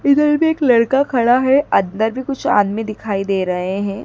इधर भी एक लड़का खड़ा है अंदर भी कुछ आदमी दिखाई दे रहे हैं।